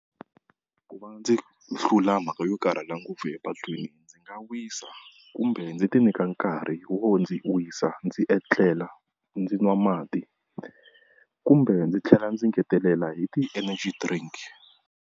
Ku va ndzi hlula mhaka yo karhala ngopfu epatwini ndzi nga wisa kumbe ndzi ti nyika nkarhi wo ndzi wisa ndzi etlela ndzi nwa mati kumbe ndzi tlhela ndzi ngetelela hi ti-energy drink.